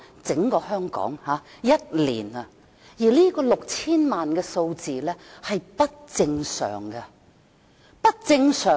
整個香港在1年內有接近 6,000 萬名旅客，這個數字是不正常的。